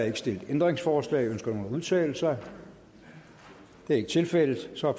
ikke stillet ændringsforslag ønsker nogen at udtale sig det er ikke tilfældet og så er